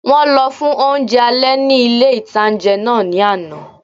Wọ́n lọ fún oúnjẹ alẹ́ ní ilé-ìtánjẹ náà ní àná